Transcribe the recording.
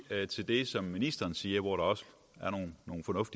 til det som ministeren siger hvor der også